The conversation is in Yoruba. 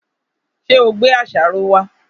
Ṣé ò gbé àṣàrò wá?